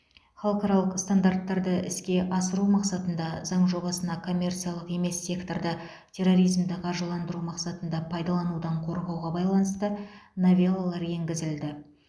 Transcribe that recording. халықаралық стандарттарды іске асыру мақсатында заң жобасына коммерциялық емес секторды терроризмді қаржыландыру мақсатында пайдаланудан қорғауға байланысты новеллалар енгізілді